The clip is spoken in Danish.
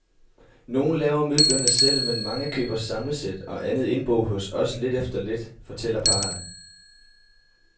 Nogen laver møblerne selv, men mange køber samlesæt og andet indbo hos os lidt efter lidt, fortæller parret.